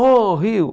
Ô, Rio!